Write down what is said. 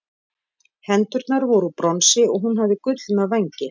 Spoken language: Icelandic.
hendurnar voru úr bronsi og hún hafði gullna vængi